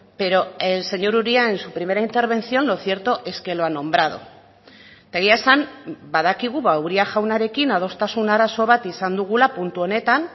pero el señor uria en su primera intervención lo cierto es que lo ha nombrado eta egia esan badakigu uria jaunarekin adostasun arazo bat izan dugula puntu honetan